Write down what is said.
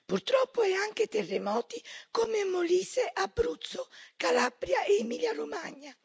Purtroppo è anche terremoti, come in Molise, Abruzzo, Calabria e Emilia Romagna.